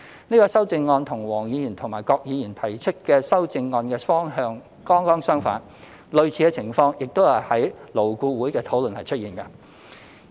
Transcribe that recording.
這項修正案與黃國健議員及郭偉强議員提出的修正案的方向剛剛相反，而類似的情況亦在勞工顧問委員會的討論出現。